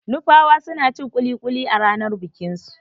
Nupawa suna cin kuli-kuli a ranar bikin su.